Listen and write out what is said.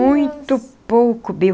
Muito pouco, viu.